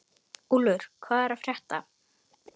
Úlfur, hvað er að frétta?